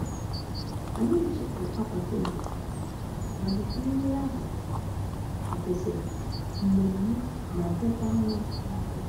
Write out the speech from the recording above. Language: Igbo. Anyị chefuru akwa tebul, mana nri ahụ ka gosiri nmemme ma dịkwa mma n'anya.